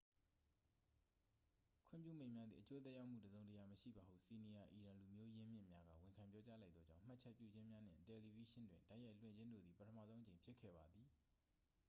ခွင့်ပြုမိန့်များသည် အကျိုးသက်ရောက်မှု တစ်စုံတစ်ရာမရှိပါဟု စီနီယာ အီရန်လူမျိုး ရင်းမြစ်များက ဝန်ခံပြောကြား လိုက်သောကြောင့် မှတ်ချက်ပြုခြင်းများနှင့် တယ်လီဗေးရှင်းတွင် တိုက်ရိုက်လွှင့်ခြင်းတို့သည် ပထမဆုံးအကြိမ်ဖြစ်ခဲ့ပါသည်